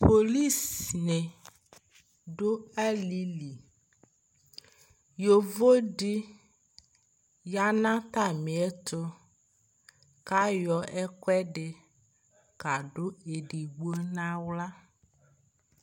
Polɩsɩ nɩ dʊ alili yovo dɩnɩ yanʊ atamɩɛtʊ kayɔ ɛkʊɛdɩ kadʊ ɔluedigbo nʊ aɣla